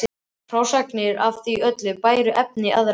Margrét: Já, og svo gat ég lesið ein.